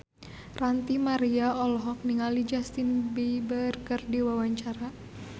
Ranty Maria olohok ningali Justin Beiber keur diwawancara